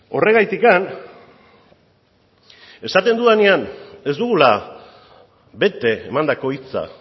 horregatik esaten dudanean ez dugula bete emandako hitza